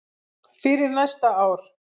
fyrir næsta ár.